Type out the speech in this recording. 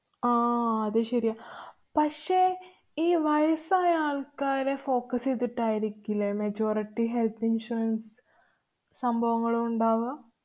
ആഹ് അത് ശരിയാ. പക്ഷേ, ഈ വയസായ ആള്‍ക്കാരെ focus എയ്തിട്ടായിരിക്കില്ലേ majority health insurance സംഭവങ്ങളും ഉണ്ടാവുക.